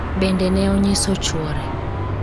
bende ne onyiso chuore